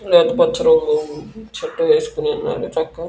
లేత పచ్చ రంగు షర్ట్ వేసుకొని ఉన్నడు ఎంచక్క --